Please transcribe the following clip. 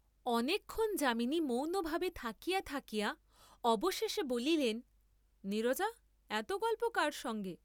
অনেক ক্ষণ যামিনী মৌনভাবে থাকিয়া থাকিয়া অবশেষে বলিলেন নীরজা এত গল্প কার সঙ্গে?